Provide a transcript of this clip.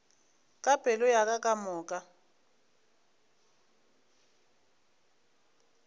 ka pelo ya ka kamoka